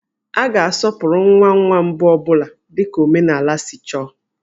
A ga-asọpụrụ nwa nwa mbụ ọ bụla dika omenaala si chọọ